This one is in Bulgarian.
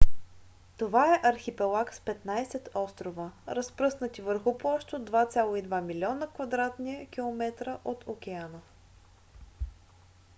това е архипелаг с 15 острова разпръснати върху площ от 2,2 милиона км2 от океана